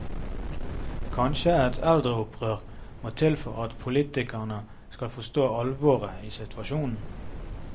Kanskje et eldreopprør må til for at politikerne skal forstå alvoret i situasjonen.